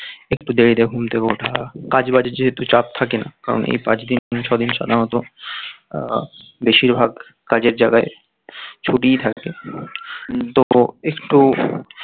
একটু দেরিতে ঘুম থেকে ওঠা কাজবাজ যেহেতু চাপ থাকে না কারণ এই পাঁচ দিন ছয় দিন সাধারণত আহ বেশিরভাগ কাজের জায়গায় ছুটি থাকে তবুও একটু